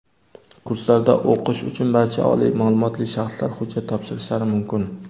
Kurslarda o‘qish uchun barcha oliy ma’lumotli shaxslar hujjat topshirishlari mumkin.